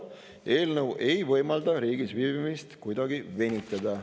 Eelnõu ei võimalda riigis viibimist kuidagi venitada.